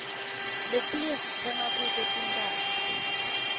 letiinye sitsenga kuto tinphahla